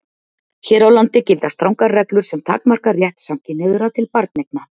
Hér á landi gilda strangar reglur sem takmarka rétt samkynhneigðra til barneigna.